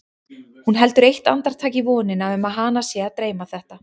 Hún heldur eitt andartak í vonina um að hana sé að dreyma þetta.